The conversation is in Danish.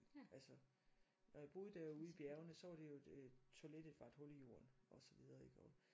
Altså og jeg boede derude